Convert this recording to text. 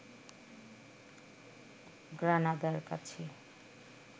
গ্রানাদার কাছে